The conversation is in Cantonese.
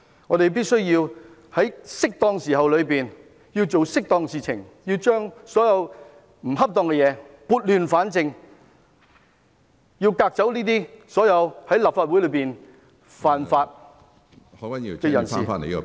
我們必須在適當的時候做適當的事情，把所有不恰當的事情撥亂反正，革走所有在立法會犯法的人士。